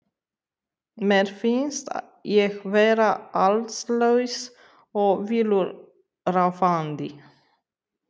Mér finnst ég vera allslaus og villuráfandi.